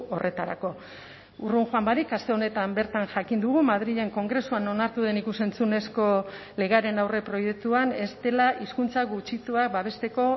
horretarako urrun joan barik aste honetan bertan jakin dugu madrilen kongresuan onartu den ikus entzunezko legearen aurreproiektuan ez dela hizkuntza gutxituak babesteko